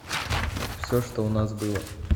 все что у нас было